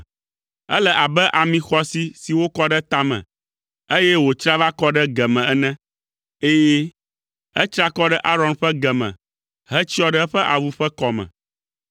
Ele abe ami xɔasi si wokɔ ɖe ta me, eye wòtsra va kɔ ɖe ge me ene, ɛ̃, etsra kɔ ɖe Aron ƒe ge me hetsyɔ ɖe eƒe awu ƒe kɔme.